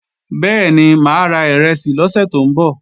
Bẹ́ẹ̀ni, máa ra ìrẹsì lọ́sè tó ń bọ̀